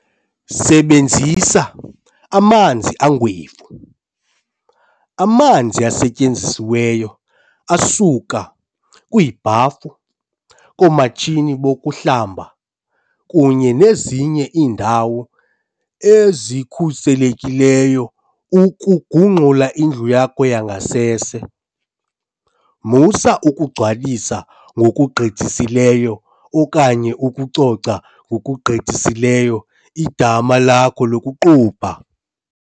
Sebenzisa "amanzi angwevu". Amanzi asetyenzisiweyo asuka kwiibhafu, koomatshini bokuhlamba kunye nezinye iindawo ezikhuselekileyo ukugungxula indlu yakho yangasese. Musa ukugcwalisa ngokugqithisileyo okanye ukucoca ngokugqithisileyo idama lakho lokuqubha.